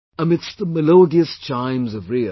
Amidst the melodious chimes of RIO